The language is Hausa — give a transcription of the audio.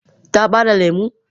Ta bare lemu?